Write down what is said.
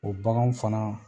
O baganw fana